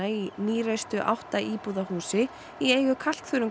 í átta íbúða húsi í eigu